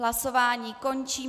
Hlasování končím.